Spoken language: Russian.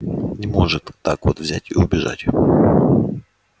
не может так вот взять и убежать